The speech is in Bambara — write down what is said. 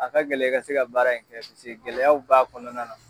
A ka gɛlɛ i ka se ka baara in kɛ paseke gɛlɛyaw b'a kɔnɔna na.